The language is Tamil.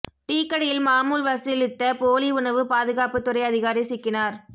டீக்கடையில் மாமூல் வசூலித்த போலி உணவு பாதுகாப்பு துறை அதிகாரி சிக்கினார்